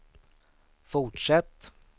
fortsätt